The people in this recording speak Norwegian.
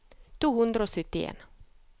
to hundre og syttien